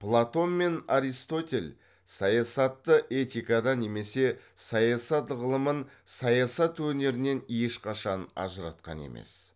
платон мен аристотель саясатты этикадан немесе саясат ғылымын саясат өнерінен ешқашан ажыратқан емес